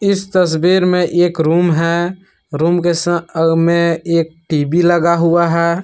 इस तस्वीर मे एक रूम है रूम के सा मे एक टी_वी लगा हुआ है।